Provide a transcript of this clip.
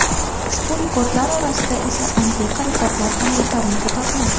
Ushbu rekordlar orasida esa antiqa rekordlar ham yetarlicha topiladi.